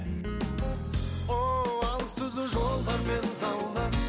ооо алыс түзу жолдармен заула